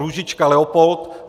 Růžička Leopold